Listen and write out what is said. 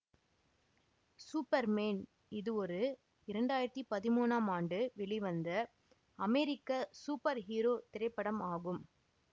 super man இது ஒரு இரண்டு ஆயிரத்தி பதிமூணாம் ஆண்டு வெளிவந்த அமெரிக்க சூப்பர் ஹீரோ திரைப்படம் ஆகும்